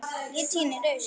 Ég tíni rusl.